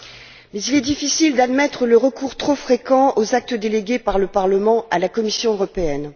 Mais il est difficile d'admettre le recours trop fréquent aux actes délégués par le Parlement à la Commission européenne.